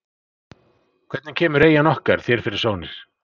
Hvernig kemur eyjan okkar þér fyrir sjónir?